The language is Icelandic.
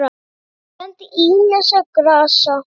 Það kenndi ýmissa grasa